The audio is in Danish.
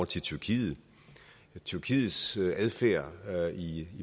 til tyrkiet tyrkiets adfærd i